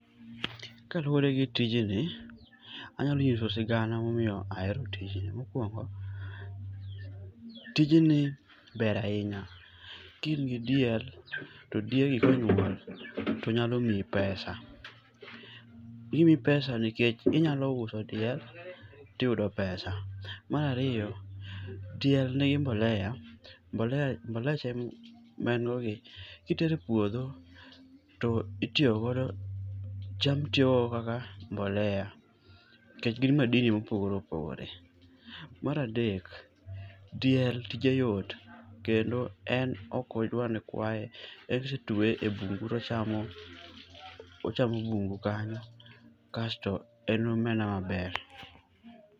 Kaluwore gi tijni, anyalo nyiso sigana momiyo ahero tijni. Mokuongo, tijni ber ahinya, kimiyi diel, to diegi konyuol to nyalo miyi pesa. Gimiyi pesa nikech inyalo uso diel to iyudo pesa. Mar ariyo, diel nigi mbolea mboleche ma en gogi, kitero e puodho to itiyo godo cham tiyogo kaka mbolea nikech gin madini mopogore opogore. Mar adek, diel tije yot kendo en ok odwar ni kwaye. En kotweye ebungu to ochamo ochamo bungu kanyo kasto en aena maber.